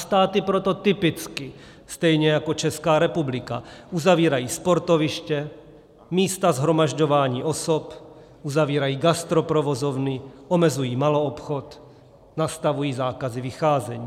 Státy proto typicky stejně jako Česká republika uzavírají sportoviště, místa shromažďování osob, uzavírají gastroprovozovny, omezují maloobchod, nastavují zákazy vycházení.